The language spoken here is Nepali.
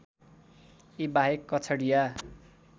यी बाहेक कछडिया